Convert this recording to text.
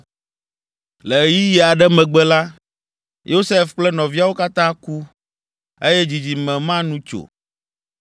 Le ɣeyiɣi aɖe megbe la, Yosef kple nɔviawo katã ku, eye dzidzime ma nu tso.